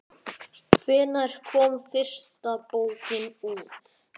Hvenær kom fyrsta bókin út?